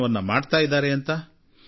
ಪ್ರಯತ್ನವನ್ನಾದರೂ ಮಾಡೋಣ